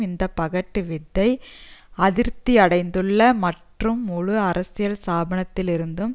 இந்த பகட்டுவித்தை அதிருப்தியடைந்துள்ள மற்றும் முழு அரசியல் ஸ்பானத்திலிருந்தும்